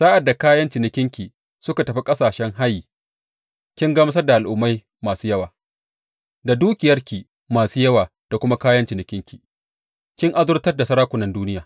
Sa’ad da kayan cinikinki suka tafi ƙasashen hayi, kin gamsar da al’ummai masu yawa; da dukiyarki masu yawa da kuma kayan cinikinki kin azurtar da sarakunan duniya.